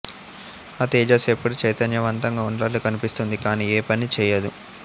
ఆ తేజస్సు ఎప్పుడూ చైతన్యవంతంగా ఉన్నట్లు కనిపిస్తుంది కాని ఏ పనీ చేయదు